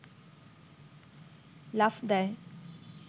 লাফ দেয়